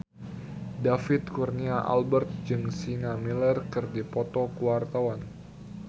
David Kurnia Albert jeung Sienna Miller keur dipoto ku wartawan